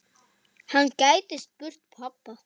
Hann gæti spurt pabba.